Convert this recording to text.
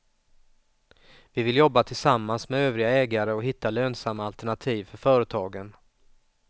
Vi vill jobba tillsammans med övriga ägare och hitta lönsamma alternativ för företagen.